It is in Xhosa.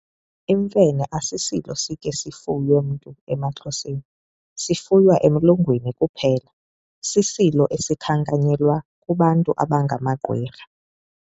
imfene asisilo sikhe sifuywe mntu emaXhoseni, sifuywa emlungwini kuphela. sisilo esikhankanyelwa kubantu abangamagqwirha.